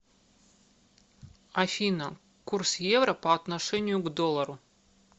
афина курс евро по отношению к доллару